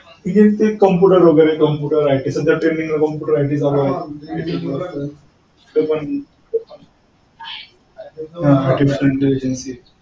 engineering चे computer वगैरे computer IT सध्या trending ला computer IT चालू आहेत.